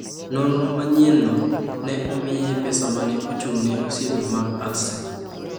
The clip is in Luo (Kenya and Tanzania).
Nonro ma manyienno ne omiye pesa ma ne ochung’ne Osiepe mag Ulster.